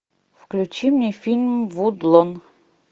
включи мне фильм вудлон